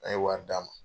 An ye wari d'a ma